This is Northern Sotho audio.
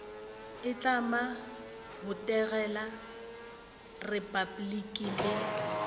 itlama go botegela repabliki le